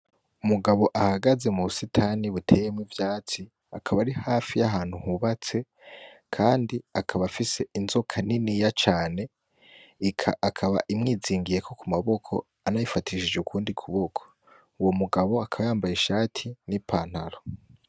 Umugabo ahagaze mu busitani buteyemwo ivyatsi akaba ari hafi yahantu hubatse kandi akaba afise inzoka niniya cane ikaba imwizingiyeko ku maboko anayifatishije ukundi kuboko. Uwo mugabo akaba yambaye ishati nipantalo.